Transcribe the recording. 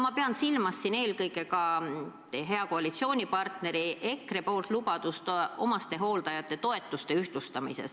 Ma pean siin silmas eelkõige hea koalitsioonipartneri EKRE lubadust omastehooldajate toetusi ühtlustada.